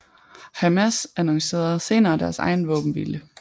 Hamas annoncerede senere deres egen våbenhvile